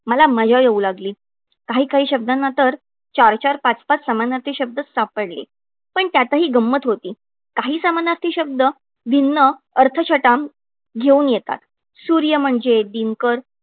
मला मजा येऊ लागली. काही काही शब्दांना तर चार-चार, पाच-पाच समानार्थी शब्द सापडले. पण त्यातही गंमत होती. काही समानार्थी शब्द, गिणणं, अर्थछटाम घेऊन येतात. सूर्य म्हणजे दिनकर